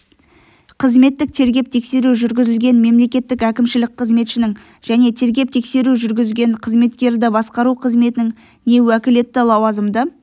қызметтік тергеп-тексеру жүргізілген мемлекеттік әкімшілік қызметшінің және тергеп-тексеру жүргізген қызметкерді басқару қызметінің не уәкілетті лауазымды